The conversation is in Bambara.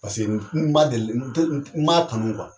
n ma deli n m'a tunu